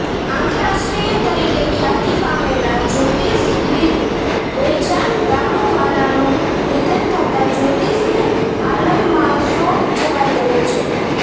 આંતરરાષ્ટ્રીય તરીકે ખ્યાતિ પામેલા જ્યોતિષવિદ્ બેજાન દારૂવાલાનું નિધન થતા જ્યોતિષી આલમમાં શોક છવાઈ ગયો છે